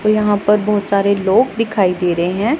और यहां पर बहुत सारे लोग दिखाई दे रहे हैं।